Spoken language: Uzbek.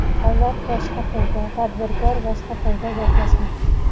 "Davlat boshqa tilda, tadbirkor boshqa tilda gaplashmoqda".